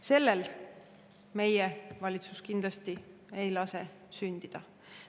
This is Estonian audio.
Sellel meie valitsus kindlasti ei lase sündida.